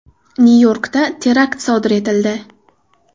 Nyu-Yorkda terakt sodir etildi.